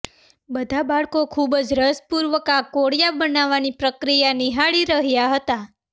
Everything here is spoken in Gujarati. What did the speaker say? બધા બાળકો ખૂબ જ રસ પૂર્વક આ કોડિયા બનાવવાની પ્રક્રિયા નિહાળી રહ્યા હતા